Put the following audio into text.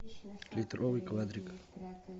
литровый квадрик